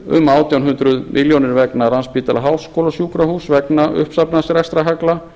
um átján hundruð milljónir vegna landspítala háskólasjúkrahúss vegna uppsafnaðs rekstrarhalla